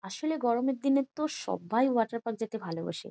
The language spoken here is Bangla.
আসলে গরমের দিনে তো সবাই ওয়াটার পার্ক যেতে ভালোবাসে ।